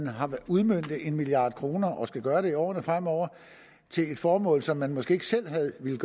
har udmøntet en milliard kroner og skal gøre det i årene fremover til et formål som man måske ikke selv havde villet